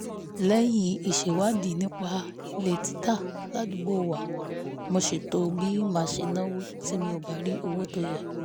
lẹ́yìn ìṣèwádìí nípa ilé títà ládùúgbò wa mo ṣètò bí màá ṣe náwó tí mi ò bá rí owó tó yẹ